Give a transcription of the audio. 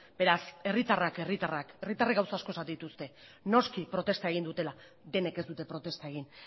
beraz herritarrak herritarrak herritarrek gauza asko esaten dituzte noski protesta egin dutela denek ez dute protesta egin